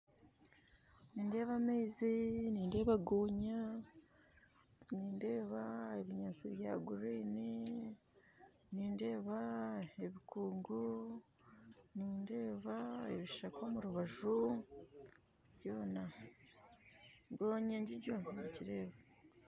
Nindeeba amaizi, nindeeba gonya nindeeba ebinyaatsi bya green nindeeba ebikungu nindeeba ebishaka omu rubaju byona, gonya njijo ningireeba